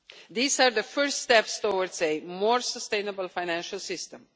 These are the first steps towards a more sustainable financial system.